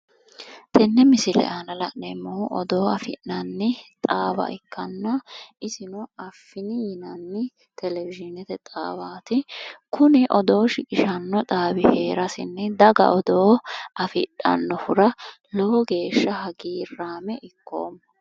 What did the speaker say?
tenne misile aana la'neemmohu odoo afi'nanni xaawa iikkanna isino affinni yinanni televiyineete xaawaati, kuni odoo shiqishanno xaawi hee'raasinni daga odoo afi'dhannohura lowo geeshshsa hagiiraame ikkoomma.